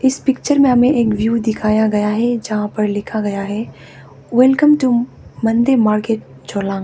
इस पिक्चर में हमें एक व्यू दिखाया गया है जहां पर लिखा गया है welcome to Monday market Jollang.